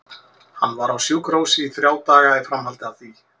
Hann var á sjúkrahúsi í þrjá daga í framhaldi af því.